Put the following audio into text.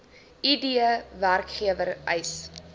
id werkgewer eis